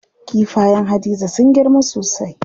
Kifayen Hadiza sun girma sosai.